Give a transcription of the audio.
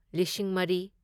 ꯂꯤꯁꯤꯡ ꯃꯔꯤ